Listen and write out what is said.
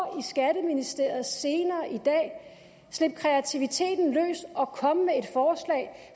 i skatteministeriet senere i dag slip kreativiteten løs og kom med et